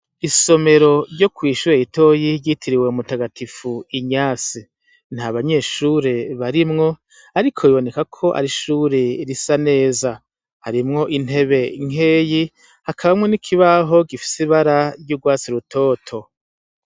Isomero ryo kw'ishure ritoyi ryitiriwe mutagatifu Ignace, nta banyeshure barimwo ariko biboneka ko ari ishure risa neza, harimwo intebe nkeyi hakabamwo n'ikibaho gifise ibara ry'urwatsi rutoto.